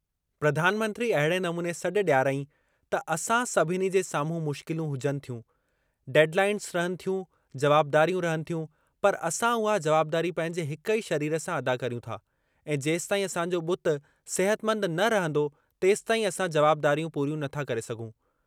प्रधानमंत्री अहिड़े नमूने सॾु ॾियारियाईं त असां सभिनी जे साम्हूं मुश्किलूं हुजनि थियूं, डेडलाइन्स रहनि थियूं, जवाबदारियूं रहनि थियूं, पर असां उहा जवाबदारी पंहिंजे हिक ई शरीर सां अदा करियूं था ऐं जेसीताईं असांजो बुत सिहतमंद न रहंदो तेसीताईं असां जवाबदारियूं पूरियूं नथा करे सघूं।